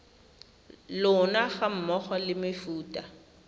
lona ga mmogo le mefuta